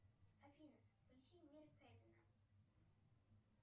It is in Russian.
афина включи мир кевина